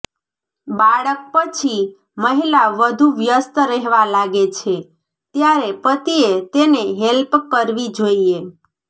બાળક પછી મહિલા વધુ વ્યસ્ત રહેવા લાગે છે ત્યારે પતિએ તેને હેલ્પ કરવી જોઈએ